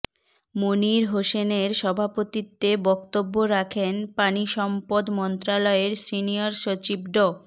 মনির হোসেনের সভাপতিত্বে বক্তব্য রাখেন পানিসম্পদ মন্ত্রণালয়ের সিনিয়র সচিব ড